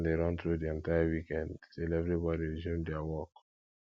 weekend plan de run through di entire weekend till everybody resume their work